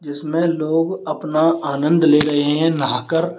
इसमें लोग अपना आनंद ले रहे है नहा कर।